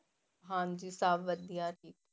ਹਾਂਜੀ ਸਭ ਵਧੀਆ ਜੀ।